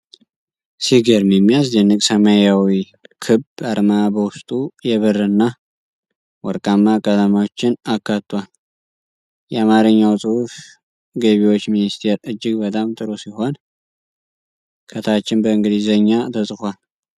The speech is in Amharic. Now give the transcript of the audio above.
ሲገርም የሚያስደንቅ! ሰማያዊው ክብ አርማ በውስጡ የብርና ወርቃማ ቀለሞችን አካቷል። የአማርኛው ጽሑፍ "ገቢዎች ሚኒስቴር" እጅግ በጣም ጥሩ ሲሆን፣ ከታችም በእንግሊዝኛ ተጽፏል።